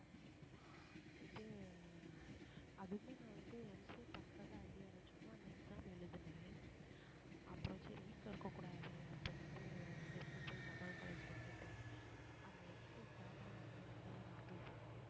இதுக்கு அதுவுமே நான் வந்து MCA பண்றதா idea இல்ல சும்மா அந்த exam எழுதினேன் அப்புறம் சரி வீட்டுல இருக்கக் கூடாது அப்படின்னுட்டு திருப்பூர் போய் ஜமால் college ல கேட்டேன் அந்த MCAstart ஆகி one month லதான் நான் போய் சேர்ந்தேன்